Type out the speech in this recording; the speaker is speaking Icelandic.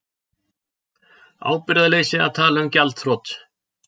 Ábyrgðarleysi að tala um gjaldþrot